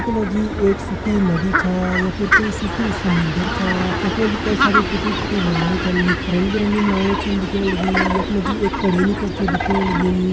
यखमा जी एक सुखी नदी छा या फिर कोई शुकयूं समुन्द्र छा यखमा जी कई सारी टूटी-फूटी नावे छन रंग-बिरंगी नावे छन दिखेण लगीं यखमा जी एक कडेलु कड़च दिखेण लग्युं।